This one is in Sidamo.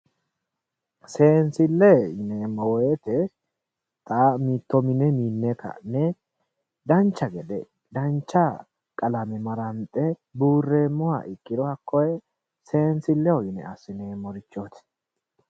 Seensile yineemmo woyte xa mitto mine minne ka'ne dancha gede dancha qalame maranxe buureemmoha ikkiro koe seensileho yine assineemmorichoti.